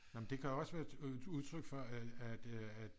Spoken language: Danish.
Nå men det kan også være et udtryk for at